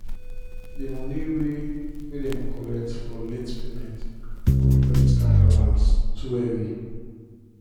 d moni wey wey dem collect for late payment of credit card balance too heavy.